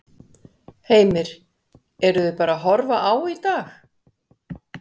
Heimir: Eruð þið bara að horfa á í dag?